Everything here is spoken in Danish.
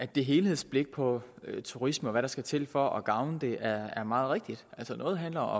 der helhedsblikket på turisme og hvad der skal til for at gavne det er meget rigtigt noget handler